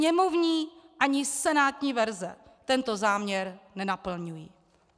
Sněmovní ani senátní verze tento záměr nenaplňují.